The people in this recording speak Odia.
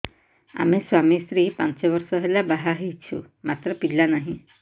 ଆମେ ସ୍ୱାମୀ ସ୍ତ୍ରୀ ପାଞ୍ଚ ବର୍ଷ ହେଲା ବାହା ହେଇଛୁ ମାତ୍ର ପିଲା ନାହିଁ